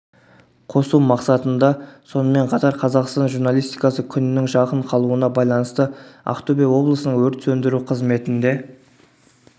қосу мақсатында сонымен қатар қазақстан журналистикасы күнінің жақын қалуына байланысты ақтөбе облысының өрт сөндіру қызметінде